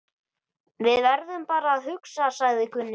Við verðum bara að hugsa, sagði Gunni.